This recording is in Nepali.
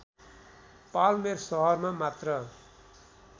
पाल्मेर सहरमा मात्र